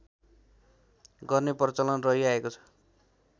गर्ने प्रचलन रहिआएको छ